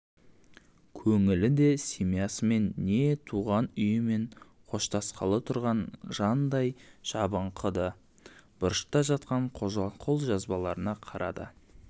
көңілі де семьясымен не туған үйімен қоштасқалы тұрған жандай жабыңқы-ды бұрышта жатқан қолжазбаларына қарады